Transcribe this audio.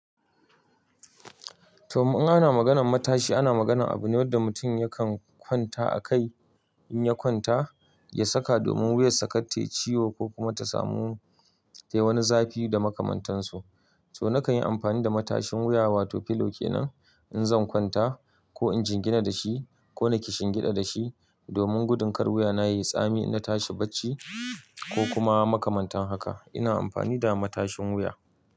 To, in ana maganan matashi ana maganan abu ne wanda mutum yakan kwanta a kai in ya kwanta, ya saka domin wuyarsa kar tai ciwo ko kuma ta samu tai wani zafi da makamantansu. To nakan yi amfani da matashin wuya wato pillow kenan in zan kwanta ko in jingina da shi ko nake kishingida da shi domin gudun kar wuya na yi tsami idan tashi bacci ko kuma makamantan haka. Ina amfani da matashin wuya.